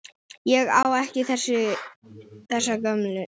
Ég á ekki þessa gömlu.